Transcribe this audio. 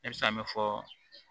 Ne bɛ se ka min fɔ